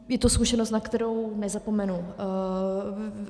Je to zkušenost, na kterou nezapomenu.